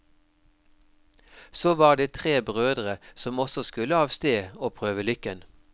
Så var det tre brødre som også skulle av sted og prøve lykken.